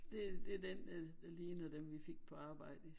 Det det den der ligner dem vi fik på arbejdet